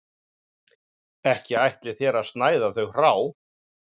Ekki ætlið þér að snæða þau hrá